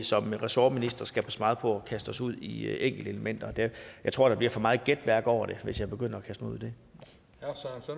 som ressortministre skal passe meget på med at kaste os ud i enkelte elementer jeg tror der bliver for meget gætværk over det hvis jeg begynder